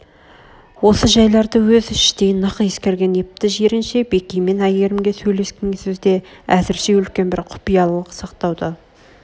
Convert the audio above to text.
осы жайларды өз іштей нық ескерген епті жиренше бекей мен әйгерімге сөйлескен сөзде әзрше үлкен бір құпиялық сақтауды